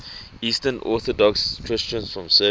eastern orthodox christians from serbia